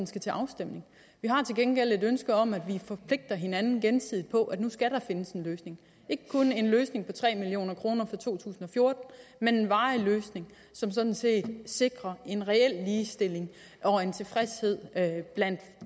skal til afstemning vi har til gengæld et ønske om at vi forpligter hinanden gensidigt på at nu skal der findes en løsning ikke kun en løsning på tre million kroner for to tusind og fjorten men en varig løsning som sådan set sikrer en reel ligestilling og en tilfredshed blandt